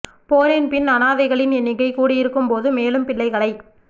போரின் பின் அநாதைகளின் எண்ணிக்கை கூடியிருக்கும் போது மேலும் பிள்ளைகளைப்